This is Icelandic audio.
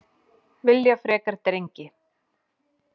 Vilja frekar drengi